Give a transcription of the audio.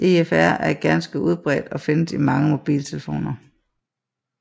EFR er ganske udbredt og findes i mange mobiltelefoner